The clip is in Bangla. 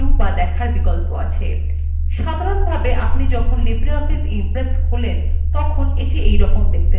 সাধারনভাবে আপনি যখন libreoffice impress খোলেন তখন সেটি এইরকম দেখতে লাগে